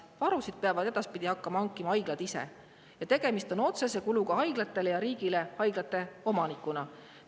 Varusid peavad edaspidi hakkama hankima haiglad ise ja tegemist on otsese kuluga haiglatele ja riigile haiglate omanikuna.